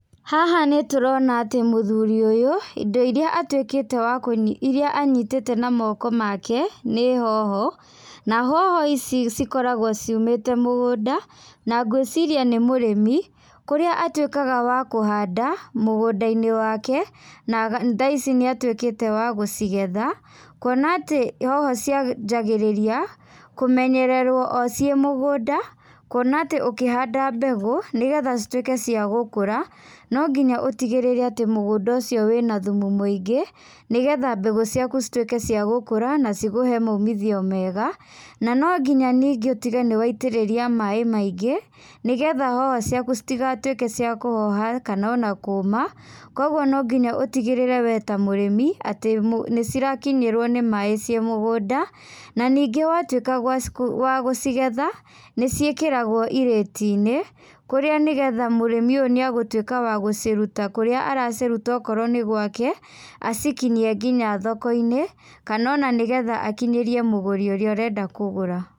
Haha nĩ tũrona atĩ mũthuri ũyũ, indo iria atuĩkĩte wa kũnyi iria anyitĩte na moko make, nĩ hoho, na hoho ici cikoragwo ciumĩte mũgunda, na ngwĩciria nĩ mũrĩmi, kũrĩa atuĩkaga wa kuhanda, mũgũnda-inĩ wake, na thaa ici nĩ atuĩkĩte wa gũcigetha, kwona atĩ hoho cianjagĩrĩria, kũmenyererwo o ciĩ mũgũnda, kwona atĩ ũkĩhanda mbegũ nĩgetha cituĩke cia gũkũra, no nginya ũtigĩrĩre atĩ mũgũnda ũcio wĩna thumu mũingĩ, nĩgetha mbegũ ciaku citwĩke cia gũkũra na cikũhe maumithio mega, na no nginya ningĩ ũtige nĩ waitĩrĩria maĩ maingĩ, nĩgetha hoho ciaku citigatwĩke cia kũhoha kana ona kuuma, kogwo no nginya ũtigĩrĩre we ta mũrĩmi, atĩ nĩ cirakinyĩrwo nĩ maĩ ciĩ mũgũnda, na ningĩ watuĩka wa gũcigetha, nĩ ciĩkagĩrwo irĩti-inĩ, kũrĩa nĩgetha mũrĩmi ũyũ nĩ agũtwĩka wa gũciruta kũrĩa araciruta okorwo nĩ gwake, acikinyie nginya thoko-inĩ, kana ona nĩgetha akinyĩrie mũgũri ũrĩa ũrenda kũgũra.